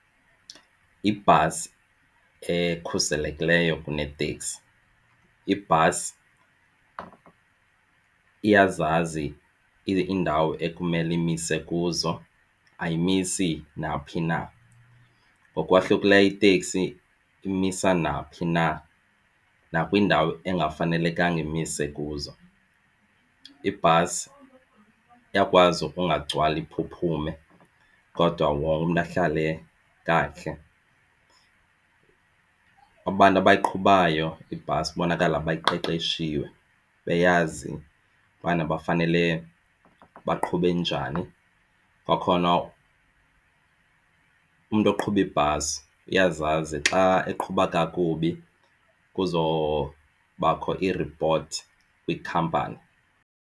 Yibhasi ekhuselekileyo kuneteksi. Ibhasi iyazazi iindawo ekumele imise kuzo ayimisi naphi na, ngokwahlukileyo iteksi imisa naphi na nakwiindawo ekungafanelekanga imise kuzo. Ibhasi iyakwazi ungagcwali iphuphume kodwa wonke umntu ahlale kakuhle. Abantu abayiqhubayo ibhasi kubonakala baqeqeshiwe, beyazi ubana bafanele baqhube njani, kwakhona umntu oqhuba ibhasi uyazazi xa eqhuba kakubi kuzobakho iripoti kwikhampani.